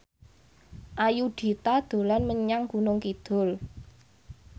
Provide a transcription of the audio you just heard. Ayudhita dolan menyang Gunung Kidul